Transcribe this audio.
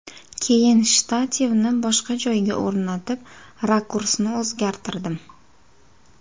Keyin shtativni boshqa joyga o‘rnatib, rakursni o‘zgartirardim.